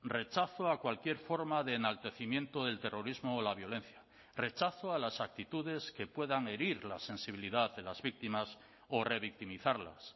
rechazo a cualquier forma de enaltecimiento del terrorismo o la violencia rechazo a las actitudes que puedan herir la sensibilidad de las víctimas o revictimizarlas